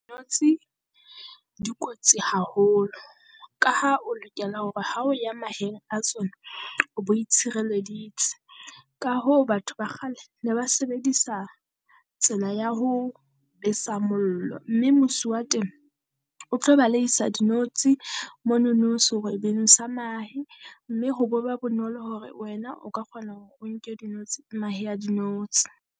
Notshi di kotsi haholo ka ha o lokela hore ha o ya maheng a tsona, o bo itshireleditse ka hoo batho ba kgale ne ba sebedisa tsela ya ho besa mollo. Mme mosi teng o tlo baleheisa dinotshi monono serwebeng sa mahe, mme ho bo ba bonolo hore wena o ka kgona hore o nke dinotshi mahe a dinotshi.